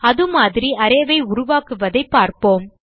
அதுமாதிரி array ஐ உருவாக்குவதைப் பார்ப்போம்